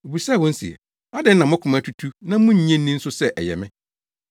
Obisaa wɔn se, “Adɛn na mo koma atutu na munnye nni nso sɛ ɛyɛ me?